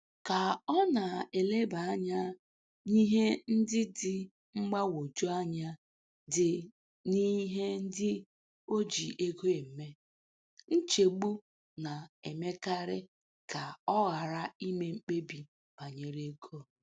Ka ọ na-eleba anya n'ihe ndị dị mgbagwoju anya dị n'ihe ndị o ji ego eme, nchegbu na-emekarị ka ọ ghara ime mkpebi banyere ego.